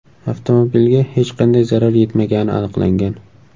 Avtomobilga hech qanday zarar yetmagani aniqlangan.